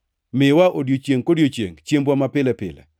Miwa odiechiengʼ kodiechiengʼ chiembwa mapile pile.